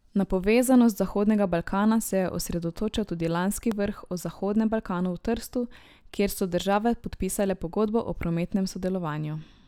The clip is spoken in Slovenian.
Na povezanost Zahodnega Balkana se je osredotočal tudi lanski vrh o Zahodnem Balkanu v Trstu, kjer so države podpisale pogodbo o prometnem sodelovanju.